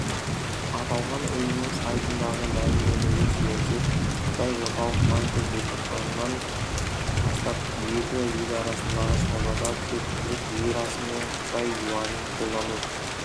аталған ұйымның сайтындағы мәлімдемеге сүйенсек қытай орталық банкі желтоқсаннан бастап екі ел арасындағы саудада тек түрік лирасы мен қытай юанін қолдану